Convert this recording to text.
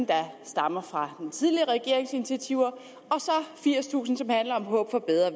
der stammer fra den tidligere regerings initiativer og så firstusind som handler om håb for bedre